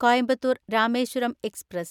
Coimbatore‍ Rameswaram express